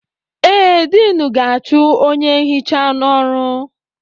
Ee, Diinu ga-achụ onye nhicha n'ọrụ.